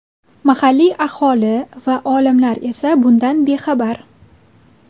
Mahalliy aholi va olimlar esa bundan bexabar.